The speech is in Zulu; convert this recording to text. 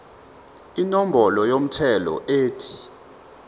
inombolo yomthelo ethi